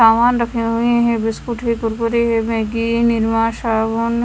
सामान रखे हुए है बिस्कुट कुरकुरे मैगी निरमा साबुन--